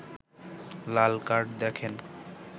লাল card দেখেন